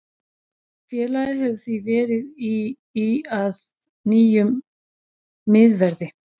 Félagið hefur því verið í í leit að nýjum miðverði.